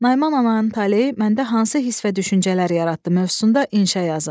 Naiman ananın taleyi məndə hansı hiss və düşüncələr yaratdı mövzusunda inşa yazın.